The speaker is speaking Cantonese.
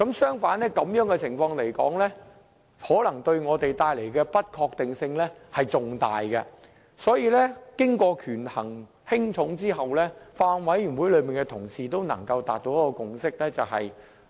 相反，這種情況可能對我們帶來更大的不確定性。所以，權衡輕重後，法案委員會委員達成了共識。